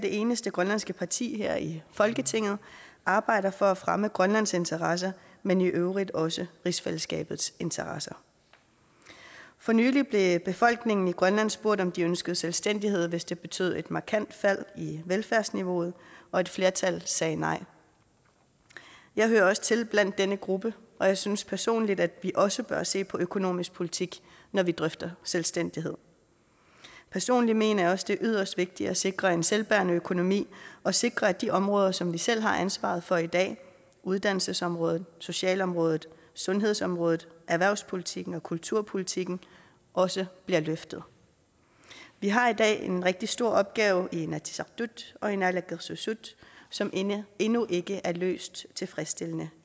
eneste grønlandske parti er her i folketinget arbejder for at fremme grønlands interesser men i øvrigt også rigsfællesskabets interesser for nylig blev befolkningen i grønland spurgt om de ønskede selvstændighed hvis det betyder et markant fald i velfærdsniveauet og et flertal sagde nej jeg hører også til blandt denne gruppe og jeg synes personligt at vi også bør se på økonomisk politik når vi drøfter selvstændighed personligt mener jeg også at det er yderst vigtigt at sikre en selvbærende økonomi og sikre at de områder som vi selv har ansvaret for i dag uddannelsesområdet socialområdet sundhedsområdet erhvervspolitikken og kulturpolitikken også bliver løftet vi har i dag en rigtig stor opgave i inatsisartut og i naalakkersuisut som endnu endnu ikke er løst tilfredsstillende